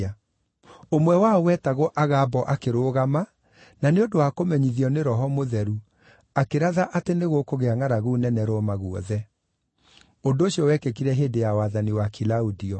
Ũmwe wao wetagwo Agabo akĩrũgama, na nĩ ũndũ wa kũmenyithio nĩ Roho Mũtheru, akĩratha atĩ nĩ gũkũgĩa ngʼaragu nene Roma guothe. (Ũndũ ũcio wekĩkire hĩndĩ ya wathani wa Kilaudio.)